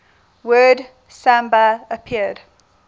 word samba appeared